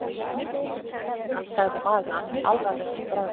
sagði maðurinn, alvarlegur í bragði.